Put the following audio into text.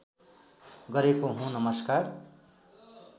गरेको हुँ नमस्कार